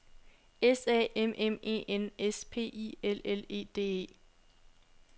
S A M M E N S P I L L E D E